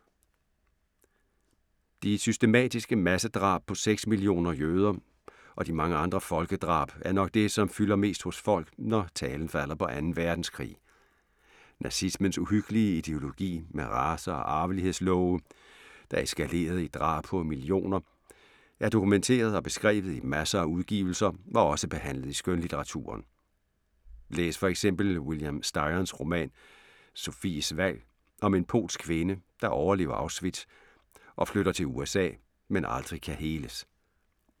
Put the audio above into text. De systematiske massedrab på seks millioner jøder og de mange andre folkedrab er nok det, som fylder mest hos folk, når talen falder på 2. Verdenskrig. Nazismens uhyggelige ideologi med race- og arvelighedslove, der eskalerede i drab på millioner, er dokumenteret og beskrevet i masser af udgivelser og også behandlet i skønlitteraturen. Læs for eksempel William Styrons roman Sophies valg om en polsk kvinde, der overlever Auschwitz og flytter til USA, men aldrig kan heles.